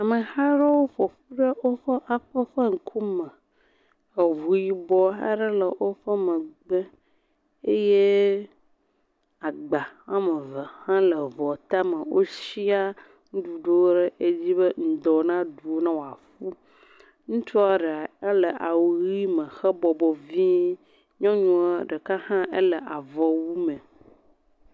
Ameha aɖewo ƒoƒu ɖe woƒe aƒe ƒe ŋkume. Eŋu yibɔ aɖe hã le woƒe megbe eye agba woame ve hã le ŋua tame wo sia nuɖuɖuwo ɖe edzi be ŋdɔ na ɖui ne woaƒu. Ŋutsu aɖe le awu ʋi me hebɔbɔ vie. Nyɔnua ɖeka hã ele avɔwu me.